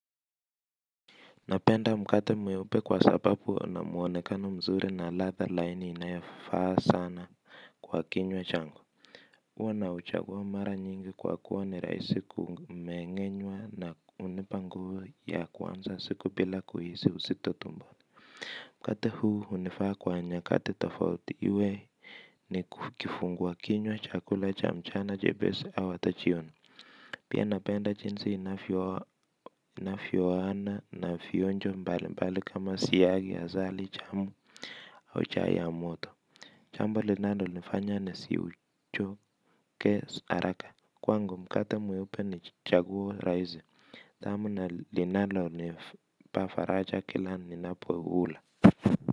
Napenda mkate mweupe kwa sababu una mwonekano mzuri na latha laini inayofaa sana kwa kinywa changu huwa na uchaguwa mara nyingi kwa kuwa ni rahisi kumengenywa na hunipa nguvuya kuanza siku bila kuhisi uzitotumbo mkate huu hunifaa kwa wakati tofauti uwe ni kifungwa kinywa chakula cha mchana chepesi au hata jioni. Pia napenda jinsi inavyoaana na vionjo mbali mbali kama siyagi ya asali jamu au chai ya moto jambo linalonifanya nisiuchoke haraka kwangu mkate mweupe ni chaguo rahisi. Tamu na linalonipa faraja kila ninapo hula.